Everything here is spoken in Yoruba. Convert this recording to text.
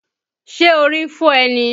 Ṣé orí ń fọ́ ẹ́ ni?